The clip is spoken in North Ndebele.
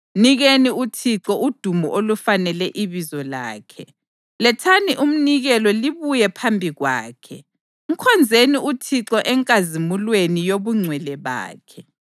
Mnikeni uThixo udumo olufanele ibizo lakhe. Lethani umnikelo libuye phambi kwakhe. Mkhonzeni uThixo enkazimulweni yobungcwele bakhe;